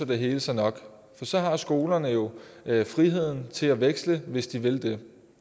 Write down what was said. det hele sig nok for så har skolerne jo friheden til at veksle hvis de vil det